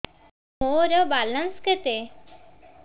ମୋର ବାଲାନ୍ସ କେତେ